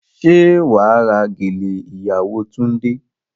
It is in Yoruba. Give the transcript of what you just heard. Ṣé wà á ra gèlè ìyàwó Túndé?